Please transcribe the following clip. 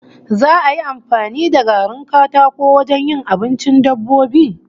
Za'a yi amfani da garin katako wajen yin abincin dabbobi?